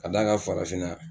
ka d'a kan FARAFINNA.